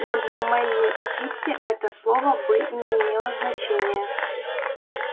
но для мелли и питти это слово бы и не имело значения